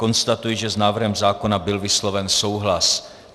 Konstatuji, že s návrhem zákona byl vysloven souhlas.